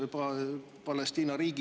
Aitäh!